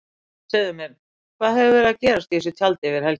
Segðu mér, hvað hefur verið að gerast í þessu tjaldi yfir helgina?